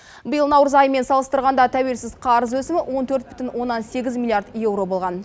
биыл наурыз айымен салыстырғанда тәуелсіз қарыз өсімі он төрт бүтін оннан сегіз миллиард еуро болған